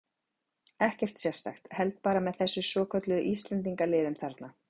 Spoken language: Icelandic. Ekkert sérstakt, held bara með þessum svokölluðu Íslendingaliðum þarna.